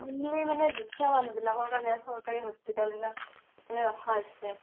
মানে দুখীয়া মানুহবিলাকৰ কাৰণেহে চৰকাৰে hospital বিলাক মানে ৰখা হৈছে